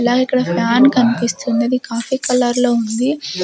అలాగే ఇక్కడ ఫ్యాన్ కనిపిస్తుంది అది కాఫీ కలర్ లో ఉంది.